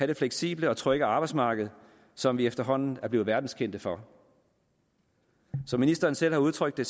det fleksible og trygge arbejdsmarked som vi efterhånden er blevet verdenskendt for som ministeren selv har udtrykt det